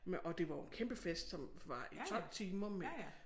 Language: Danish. Med og det var jo kæmpe fest som var i 12 timer med